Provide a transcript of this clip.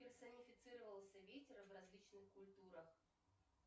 персонифицировался ветер в различных культурах